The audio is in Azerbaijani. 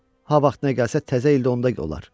Ha vaxt nə gəlsə təzə ildə onda olar.